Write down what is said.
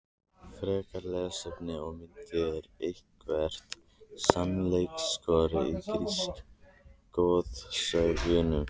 Frekara lesefni og myndir Er eitthvert sannleikskorn í grísku goðsögunum?